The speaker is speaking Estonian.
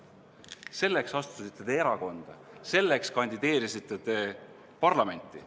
Selleks te astusite erakonda, selleks te kandideerisite parlamenti.